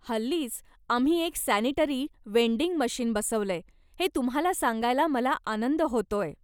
हल्लीच आम्ही एक सॅनिटरी वेंडिंग मशीन बसवलंय हे तुम्हाला सांगायला मला आनंद होतोय.